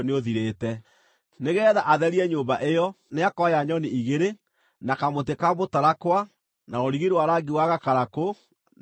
Nĩgeetha atherie nyũmba ĩyo, nĩakoya nyoni igĩrĩ, na kamũtĩ ka mũtarakwa, na rũrigi rwa rangi wa gakarakũ, na mũthobi.